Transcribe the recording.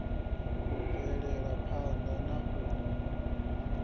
u bvela phana na u